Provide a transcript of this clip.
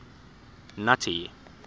nuttie